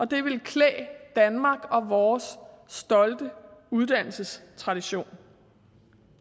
det ville klæde danmark og vores stolte uddannelsestradition